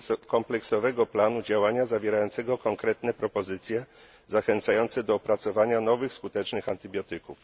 kompleksowego planu działania zawierającego konkretne propozycje, zachęcające do opracowania nowych skutecznych antybiotyków.